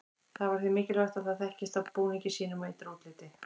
Það var því mikilvægt að það þekktist á búningi sínum og ytra útliti.